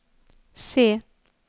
se